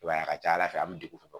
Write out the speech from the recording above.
I b'a ye a ka ca ala fɛ an mi degun